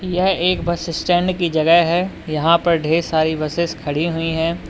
यह एक bus stand की जगह है यहां पर ढ़ेर सारी बसेस खड़ी हुई है।